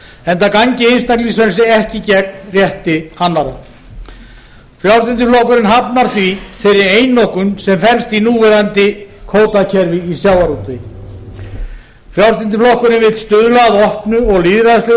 enda gangi einstaklingsfrelsi ekki gegn rétti annarra frjálslyndi flokkurinn hafnar því þeirri einokun sem fellst í núverandi kvótakerfi í sjávarútvegi frjálslyndi flokkurinn vill stuðla að opnu og lýðræðislegu